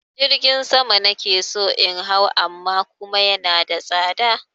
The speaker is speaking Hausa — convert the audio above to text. Jirgin sama na ke so in hau amma kuma yana da tsada.